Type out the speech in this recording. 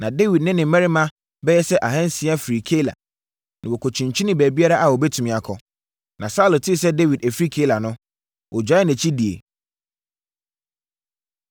Na Dawid ne ne mmarima bɛyɛ sɛ ahansia firii Keila, na wɔkyinkyinii baabiara a wɔbɛtumi akɔ. Na Saulo tee sɛ Dawid afiri Keila no, ɔgyaee nʼakyi die.